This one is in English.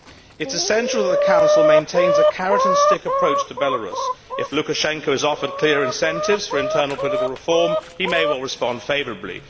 It is essential that the Council maintains a carrot and stick approach to Belarus if Lukashenko is offered clear incentives for internal political reform he may well respond favourably.